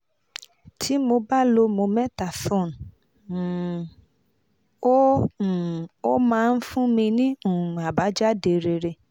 tí mo bá lo mometasone um ó um ó máa ń fún mi ní um àbájáde rere